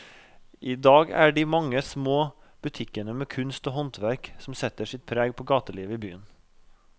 I dag er det de mange små butikkene med kunst og håndverk som setter sitt preg på gatelivet i byen.